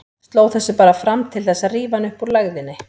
Sló þessu bara fram til þess að rífa hann upp úr lægðinni.